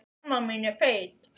Er ég rauður?